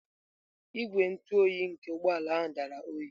Igwe ntụ oyi nke ụgbọ ala ahụ dara oyi.